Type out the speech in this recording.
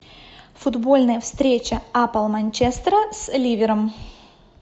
футбольная встреча апл манчестера с ливером